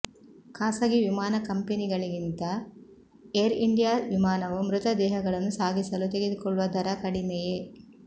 ಖಾಸಗಿ ವಿಮಾನ ಕಂಪೆನಿಗಳಿಗಿಂತ ಏರ್ಇಂಡಿಯಾ ವಿಮಾನವು ಮೃತದೇಹಗಳನ್ನು ಸಾಗಿಸಲು ತೆಗದುಕೊಳ್ಳುವ ದರ ಕಡಿಮೆಯೇ